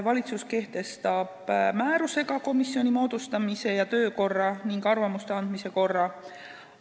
Valitsus kehtestab määrusega komisjoni moodustamise ja töökorra ning arvamuste andmise korra.